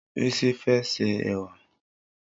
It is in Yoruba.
Rísí fẹ́ ṣẹ èwà.